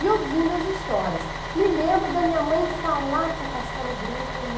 E ouvindo as histórias, me lembro da minha mãe falar com o Castelo Branco no...